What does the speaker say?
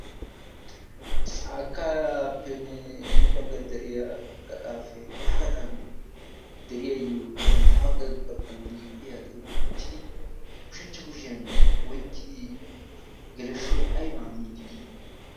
Caakkaappenne hini baggan deriya gaxaafe ha gaxan deriya yolii ha bagga baggan liiphphiya xeeran uttidi ushachcha kushiyan oykkidi geleshshoy aybaa miidd dii